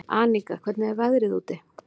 Aníka, hvernig er veðrið úti?